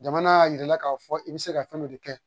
Jamana y'a yira i la k'a fɔ i bɛ se ka fɛn dɔ de kɛ